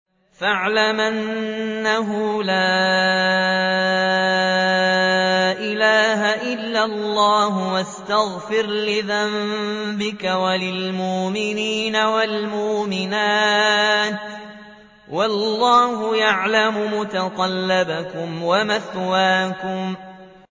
فَاعْلَمْ أَنَّهُ لَا إِلَٰهَ إِلَّا اللَّهُ وَاسْتَغْفِرْ لِذَنبِكَ وَلِلْمُؤْمِنِينَ وَالْمُؤْمِنَاتِ ۗ وَاللَّهُ يَعْلَمُ مُتَقَلَّبَكُمْ وَمَثْوَاكُمْ